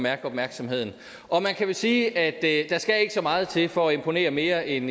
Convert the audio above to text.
at få opmærksomhed og man kan vel sige at der ikke skal så meget til for at imponere mere end